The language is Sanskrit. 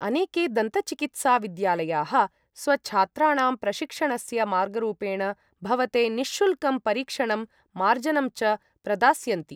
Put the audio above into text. अनेके दन्त चिकित्सा विद्यालयाः स्वछात्राणां प्रशिक्षणस्य मार्गरूपेण भवते निःशुल्कं परीक्षणं मार्जनं च प्रदास्यन्ति।